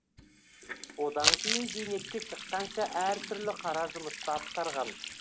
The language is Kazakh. одан кейін зейнетке шыққанша әртүрлі қара жұмысты атқарған